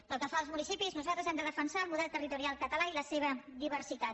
pel que fa als municipis nosaltres hem de defensar el model territorial català i la seva diversitat